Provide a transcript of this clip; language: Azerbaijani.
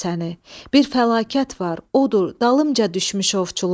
Bir fəlakət var, odur, dalımca düşmüş ovçular.